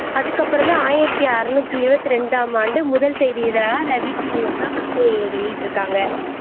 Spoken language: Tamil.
அதுக்கு அப்புறம்தான் ஆயிரத்தி அறுநூத்தி இருபத்தி ரெண்டாம் ஆண்டு முதல் செய்தி இதழா the weekly news தான் first உ வெளியிட்டருக்காங்க